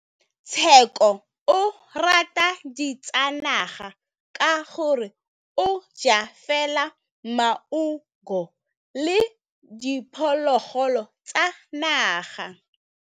Tshekô o rata ditsanaga ka gore o ja fela maungo le diphologolo tsa naga.